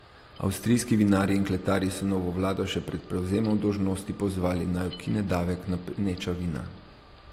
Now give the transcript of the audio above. Avstrijski vinarji in kletarji so novo vlado še pred prevzemom dolžnosti pozvali, naj ukine davek na peneča vina.